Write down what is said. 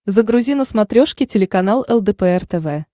загрузи на смотрешке телеканал лдпр тв